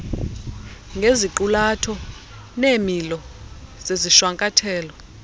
ngeziqulatho neemilo zezishwankathelo